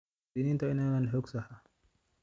Muwaadiniintu waa inay helaan xog sax ah.